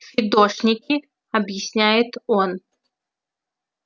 фидошники объясняет он